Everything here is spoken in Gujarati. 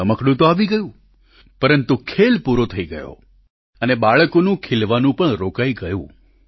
રમકડું તો આવી ગયું પરંતુ ખેલ પૂરૂં થઇ ગયું અને બાળકોનું ખિલવાનું પણ રોકાઈ ગયું